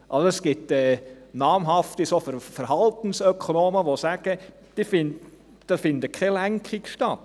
Es gibt namhafte Verhaltensökonomen, die sagen, da finde keine Lenkung statt.